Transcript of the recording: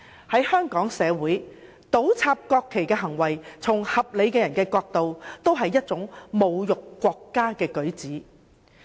在香港，合理的人均會認為倒插國旗是侮辱國家的舉止。